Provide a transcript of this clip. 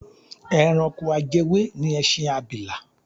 Ẹranko ajẹwé ni ẹṣin abìlà.